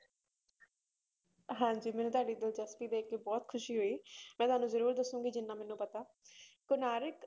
ਹਾਂਜੀ ਮੈਨੂੰ ਤੁਹਾਡੀ ਦਿਲਚਸਪੀ ਦੇਖ ਕੇ ਬਹੁਤ ਖ਼ੁਸ਼ੀ ਹੋਈ ਮੈਂ ਤੁਹਾਨੂੰ ਜ਼ਰੂਰ ਦੱਸਾਂਗੀ ਜਿੰਨਾ ਮੈਨੂੰ ਪਤਾ ਕੋਣਾਰਕ